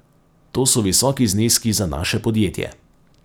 To so visoki zneski za naše podjetje.